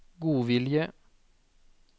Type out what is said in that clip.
godvilje